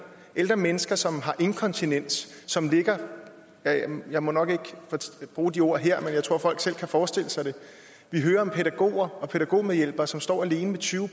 ældre mennesker som har inkontinens og som ligger ja jeg må nok ikke bruge de ord her men jeg tror folk selv kan forestille sig det vi hører om pædagoger og pædagogmedhjælpere som står alene med tyve